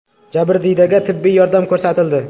Jabrdiydaga tibbiy yordam ko‘rsatildi.